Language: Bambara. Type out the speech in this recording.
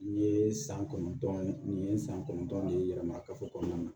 Nin yee san kɔnɔntɔn ye nin ye san kɔnɔntɔn de ye yɛlɛma kafo kɔnɔna na